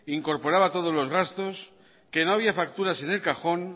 incorporaba todos los gastos que no había facturas en el cajón